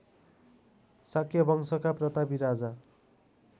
शाक्यवंशका प्रतापी राजा